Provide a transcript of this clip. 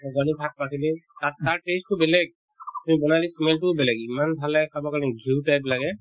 শাক-পাচলিৰ তাত test তো বেলেগ তুমি বনালে smell তোও বেলেগ ইমান ভাল লাগে খাবৰ কাৰণে ঘিউ type লাগে